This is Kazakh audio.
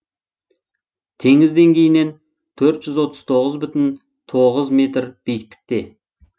теңіз деңгейінен төрт жүз отыз тоғыз бүтін тоғыз метр биіктікте